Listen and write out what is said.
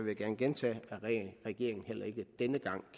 jeg gerne gentage at regeringen heller ikke denne gang